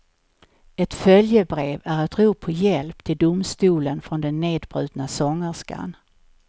Ett följebrev är ett rop på hjälp till domstolen från den nedbrutna sångerskan.